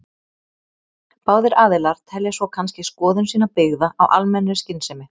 Báðir aðilar telja svo kannski skoðun sína byggða á almennri skynsemi.